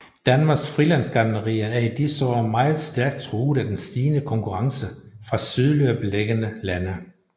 Danmarks frilandsgartnerier er i disse år meget stærkt truet af den stigende konkurrence fra sydligere beliggende lande